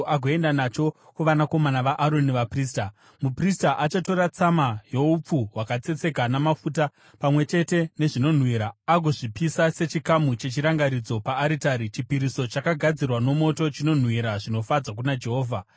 agoenda nacho kuvanakomana vaAroni vaprista. Muprista achatora tsama youpfu hwakatsetseka namafuta, pamwe chete nezvinonhuhwira, agozvipisa sechikamu chechirangaridzo paaritari. Chipiriso chakagadzirwa nomoto, chinonhuhwira zvinofadza kuna Jehovha.